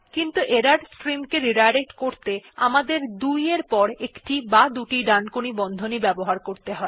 কিন্তু ত্রুটির স্ট্রিম কে রিডাইরেক্ট করতে আমাদের ২ এর পর একটি বা দুটি ডানকোণী বন্ধনী ব্যবহার করতে হয়